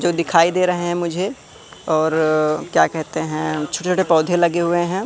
जो दिखाई दे रहे हैं मुझे और क्या कहते हैं छोटे छोटे पौधे लगे हुए हैं।